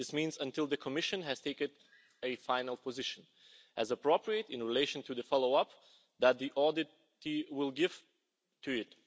This means until the Commission has taken a final position as appropriate, in relation to the follow up that the audit team will give to it.